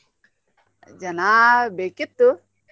ಜನಾ ಬೇಕಿತ್ತು.